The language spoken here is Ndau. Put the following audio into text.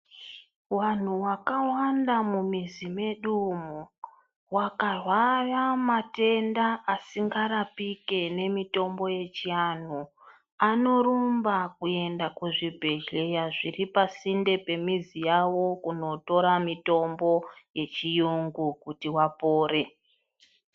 Vantu vakawanda mumizi medu umu vakarwara matenda asingarapike nemitombo yechiantu anorumba kuenda kuzvibhedhleya zvepasinde yemizi yavo kundotora mitombo yechiyungu kuti apore.